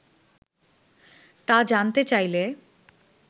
তা জানতে চাইলে